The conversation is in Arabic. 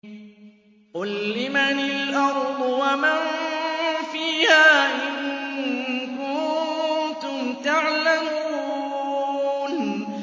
قُل لِّمَنِ الْأَرْضُ وَمَن فِيهَا إِن كُنتُمْ تَعْلَمُونَ